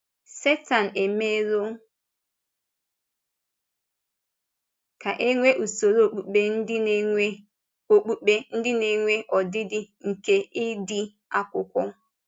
Sẹ́tán emèrọ̀ ka e nwee usoro okpùkpe ndị na-enwe okpùkpe ndị na-enwe ọdịdị nke ịdị Akwụkwọ.